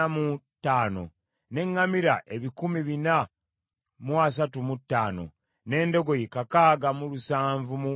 n’eŋŋamira ebikumi bina mu asatu mu ttaano (435), n’endogoyi kakaaga mu lusanvu mu abiri (6,720).